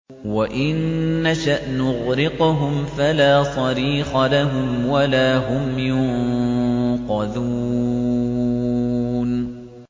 وَإِن نَّشَأْ نُغْرِقْهُمْ فَلَا صَرِيخَ لَهُمْ وَلَا هُمْ يُنقَذُونَ